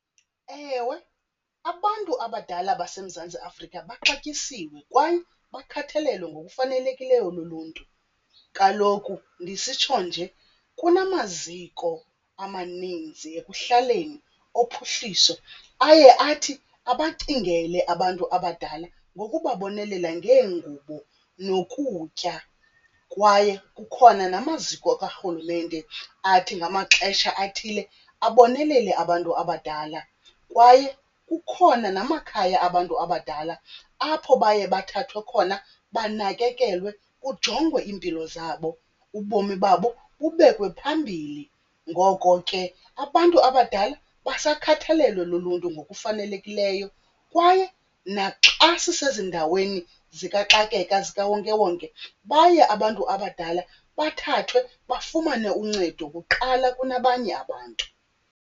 Ewe, abantu abadala baseMzantsi Afrika baxatyisiwe kwaye bakhathalelwe ngokufanelekileyo luluntu. Kaloku ndisitsho nje kunanamaziko amaninzi ekuhlaleni ophuhliso aye athi abacingele abantu abadala ngokubabonelela ngeengubo nokutya kwaye kukhona namaziko karhulumente athi ngamaxesha athile abonelele abantu abadala. Kwaye kukhona namakhaya abantu abadala apho baye bathathwe khona banakekelwe kujongwe iimpilo zabo, ubomi babo bubekwe phambili. Ngoko ke abantu abadala basakhathalelwe luluntu ngokufanelekileyo. Kwaye naxa sisezindaweni zikaxakeka zikawonkewonke baye abantu abadala bathathwe bafumane uncedo kuqala kunabanye abantu.